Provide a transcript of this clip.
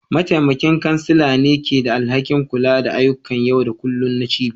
Mataimakin kansala ne ke da alhakin kula da ayyukan yau da kullun na cibiyar.